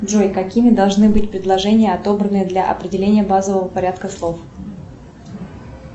джой какими должны быть предложения отобранные для определения базового порядка слов